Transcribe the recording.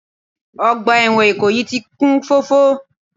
Ọgbà ẹ̀wọ̀n Ìkòyí ti kún fọ́fọ́